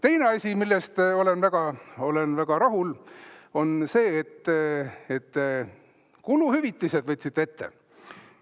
Teine asi, millega ma olen väga rahul, on see, et te kuluhüvitised võtsite ette.